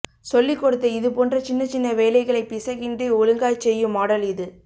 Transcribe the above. சொல்லிக் கொடுத்த இது போன்ற சின்னச் சின்ன வேலைகளை பிசகின்றி ஒழுங்காய்ச் செய்யும் மாடல் இது